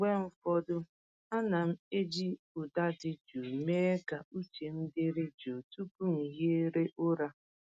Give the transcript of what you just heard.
Mgbe ụfọdụ, ana m eji ụda dị jụụ mee ka uche m dịrị jụụ tupu m ehiere ụra.